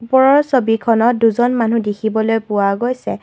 ওপৰৰ ছবিখনত দুজন মানুহ দেখিবলৈ পোৱা গৈছে।